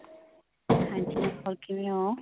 ਹਾਂਜੀ mam ਹੋਰ ਕਿਵੇਂ ਹੋ